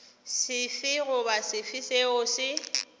sefe goba sefe seo se